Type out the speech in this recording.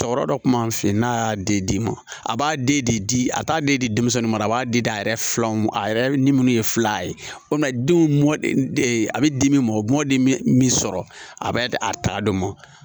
Tɔɔrɔ dɔ kun b'an fɛ yen n'a y'a di ma a b'a den de di a t'a den di denmisɛnnin ma a b'a di a yɛrɛ fila ma a yɛrɛ ni minnu ye fila ye o man denw a bɛ di min ma mɔdi min sɔrɔ a bɛ a ta dɔ ma